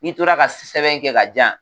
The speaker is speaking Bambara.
N'i tora ka sɛbɛn kɛ ka di yan